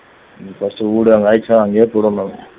அங்கேயே போயிருவேன் நான்